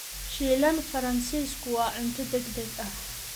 Shiilan Faransiisku waa cunto degdeg ah.